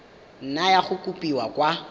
nna ya kopiwa kwa go